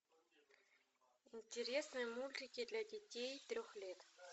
интересные мультики для детей трех лет